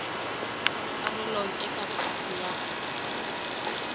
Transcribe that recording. karolong e ka tlase ya